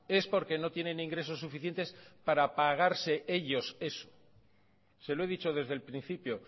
es porque no tienen ingresos suficientes para pagarse ellos eso se lo he dicho desde el principio